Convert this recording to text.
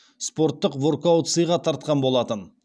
спорттық воркаут сыйға тартқан болатын